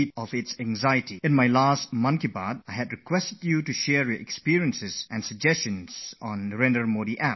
When I shared my inner thoughts with you during last month's Mann ki Baat, I had requested everybody to send their experiences and suggestions to me on Narendra Modi App